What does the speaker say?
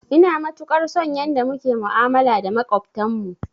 Ina matukar son yanda muke ma'amala da maƙwabtan mu